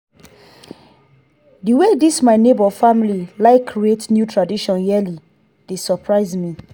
di wey this my nebor family like create new traditions yearly dey surprise me.